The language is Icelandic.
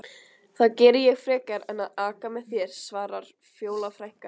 Það geri ég frekar en að aka með þér, svarar Fjóla frænka.